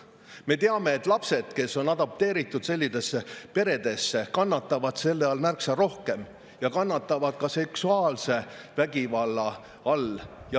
Me teame, et lapsed, kes on adopteeritud sellistesse peredesse, kannatavad selle all märksa rohkem ja kannatavad ka seksuaalvägivalla all.